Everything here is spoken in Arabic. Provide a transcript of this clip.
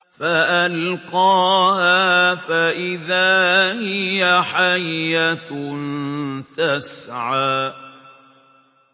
فَأَلْقَاهَا فَإِذَا هِيَ حَيَّةٌ تَسْعَىٰ